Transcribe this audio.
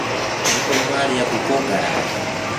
Nĩ ũrĩ waria ngũkũ ngarange